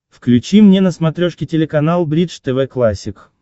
включи мне на смотрешке телеканал бридж тв классик